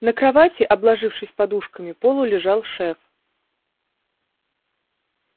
на кровати обложившись подушками полулежал шеф